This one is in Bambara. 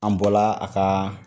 An bɔla a ka